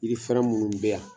Yiri fɛrɛn minnu bɛ yan